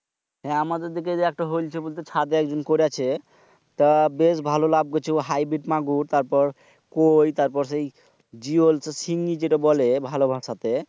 হ্যাঁ আমাদের এই দিকে হইলছে বলতে চাদে একজন করেছে। তা বেশ ভালো লাভ কইচ্ছে। হটাইবি মাগুর তারপর কৈ জিয়ল শিং যেটা বলে ভালো ভাষাতে।